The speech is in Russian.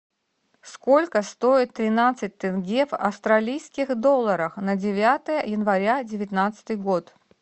сколько стоит тринадцать тенге в австралийских долларах на девятое января девятнадцатый год